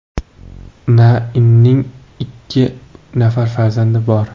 Na Inning ikki nafar farzandi bor.